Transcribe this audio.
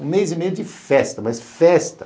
Um mês e meio de festa, mas festa.